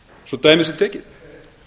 svo dæmi sé tekið